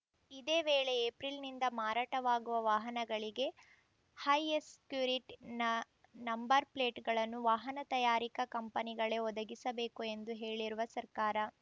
ಇದೇ ವೇಳೆ ಏಪ್ರಿಲ್‌ನಿಂದ ಮಾರಾಟವಾಗುವ ವಾಹನಗಳಿಗೆ ಹೈ ಎಸ್ ಕ್ಯುರಿಟ್ ನ ನಂಬರ್‌ ಪ್ಲೇಟ್‌ಗಳನ್ನು ವಾಹನ ತಯಾರಿಕಾ ಕಂಪನಿಗಳೇ ಒದಗಿಸಬೇಕು ಎಂದು ಹೇಳಿರುವ ಸರ್ಕಾರ